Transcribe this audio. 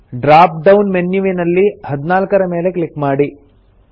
drop down ಮೆನ್ಯುವಿನಲ್ಲಿ 14 ರ ಮೇಲೆ ಕ್ಲಿಕ್ ಮಾಡಿ